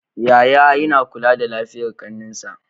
Yaya yAna kula da lafiyar ƙanin shi